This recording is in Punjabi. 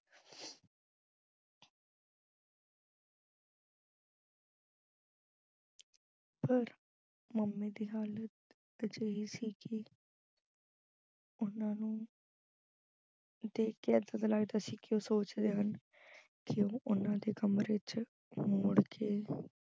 ਪਰ mummy ਦੀ ਹਾਲਤ ਅਜਿਹੀ ਸੀ ਕਿ ਉਹਨਾਂ ਨੂੰ ਦੇਖ ਕੇ ਐਦਾ ਦਾ ਲੱਗਦਾ ਸੀ ਕਿ ਉਹ ਸੋਚ ਰਹੇ ਹਨ ਅਹ ਕਿ ਉਹਨਾਂ ਦੇ ਕਮਰੇ ਚ ਮੁੜ ਕੇ